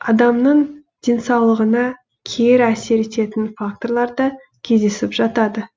адамның денсаулығына кері әсер ететін факторлар да кездесіп жатады